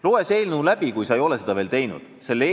Loe see eelnõu läbi, kui sa ei ole seda veel teinud!